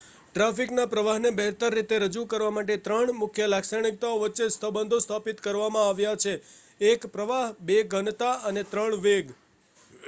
ટ્રાફિકના પ્રવાહને બહેતર રીતે રજૂ કરવા માટે ત્રણ મુખ્ય લાક્ષણિકતાઓ વચ્ચે સંબંધો સ્થાપિત કરવામાં આવ્યા છે: 1 પ્રવાહ 2 ઘનતા અને 3 વેગ